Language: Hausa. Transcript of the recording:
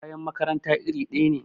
kayan makaranta iri daya ne